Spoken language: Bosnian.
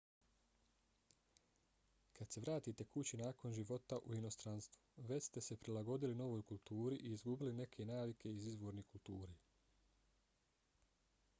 kad se vratite kući nakon života u inostranstvu već ste se prilagodili novoj kulturi i izgubili neke navike iz izvorne kulture